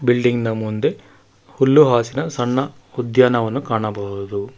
Building ನ ಮುಂದೆ ಹುಲ್ಲು ಆಸಿನ ಸಣ್ಣ ಉದ್ಯಾನವನ ಕಾಣಬಹುದು.